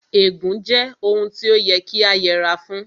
Ègún jẹ́ ohun tí ó yẹ kí a yẹra fún